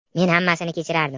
Men hammasini kechirardim.